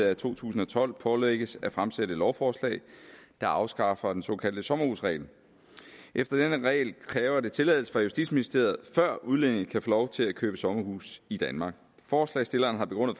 af to tusind og tolv pålægges at fremsætte et lovforslag der afskaffer den såkaldte sommerhusregel efter denne regel kræver det tilladelse fra justitsministeriet før udlændinge kan få lov til at købe sommerhuse i danmark forslagsstillerne har begrundet